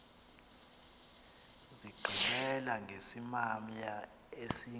zigqibela ngesimamya esingu